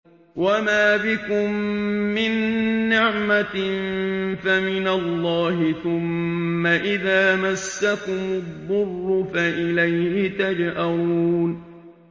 وَمَا بِكُم مِّن نِّعْمَةٍ فَمِنَ اللَّهِ ۖ ثُمَّ إِذَا مَسَّكُمُ الضُّرُّ فَإِلَيْهِ تَجْأَرُونَ